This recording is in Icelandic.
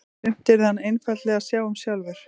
Sumt yrði hann einfaldlega að sjá um sjálfur.